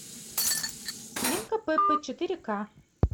свинка пеппа четыре ка